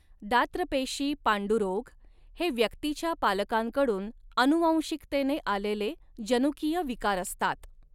दात्रपेशी पांडुरोग हे व्यक्तीच्या पालकांकडून आनुवंशिकतेने आलेले जनुकीय विकार असतात.